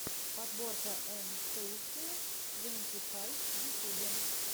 подборка эн стейши твенти файв в ютьюбе